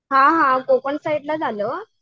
हां हां कोकण साईडलाच आलं